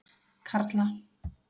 Karla